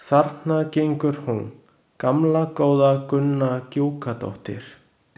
Þarna gengur hún, gamla góða Gunna Gjúkadóttir.